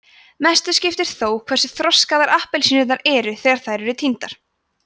mestu skiptir þó hversu þroskaðar appelsínurnar eru þegar þær eru tíndar